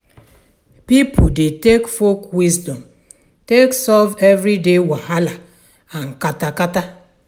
Pipo dey take folk wisdom take solve everyday wahala and kata kata.